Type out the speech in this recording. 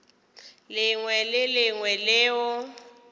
lengwe le le lengwe leo